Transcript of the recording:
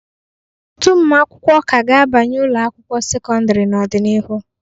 Ọtụtụ ụmụ akwụkwọ ka ga-abanye ụlọ akwụkwọ sekọndịrị n'ọdịnihu.